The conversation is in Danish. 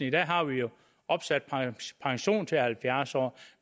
i dag har vi jo opsat pension til halvfjerds år